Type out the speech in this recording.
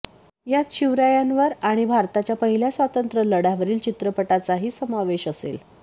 यात शिवरायांवर आणि भारताच्या पहिल्या स्वातंत्र्य लढ्या वरील चित्रपटांचाही समावेश असेल